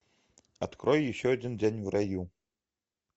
открой еще один день в раю